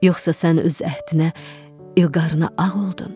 Yoxsa sən öz əhdinə, ilqarına ağ oldun?